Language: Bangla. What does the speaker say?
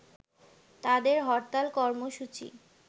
তাদের হরতাল কর্মসূচি